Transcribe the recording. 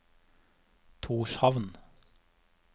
Tórshavn